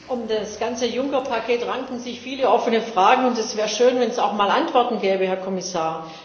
Um das ganze Juncker Paket ranken sich viele offene Fragen, und es wäre schön, wenn es auch mal Antworten gäbe, Herr Kommissar.